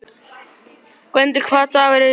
Gvendur, hvaða dagur er í dag?